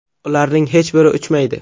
Ularning hech biri uchmaydi.